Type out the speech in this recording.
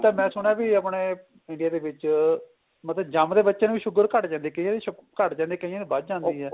ਤਾਂ ਮੈਂ ਸੁਣਿਆ ਆਪਣੇ India ਦੇ ਵਿੱਚ ਮਤਲਬ ਜਮਦੇ ਬੱਚੇ ਨੂੰ ਵੀ sugar ਘੱਟ ਜਾਂਦੀ ਕਈਆਂ ਨੂੰ ਘੱਟ ਜਾਂਦੀ ਕਈਆਂ ਦੀ ਵੱਧ ਜਾਂਦੀ ਏ